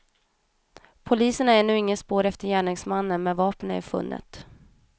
Polisen har ännu inget spår efter gärningsmannen, men vapnet är funnet.